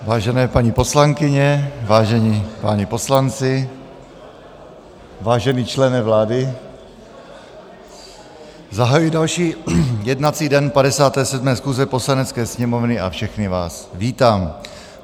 Vážené paní poslankyně, vážení páni poslanci, vážený člene vlády, zahajuji další jednací den 57. schůze Poslanecké sněmovny a všechny vás vítám.